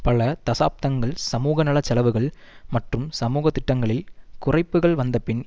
பல தசாப்தங்கள் சமூகநல செலவுகள் மற்றும் சமூக திட்டங்களில் குறைப்புக்கள் வந்த பின்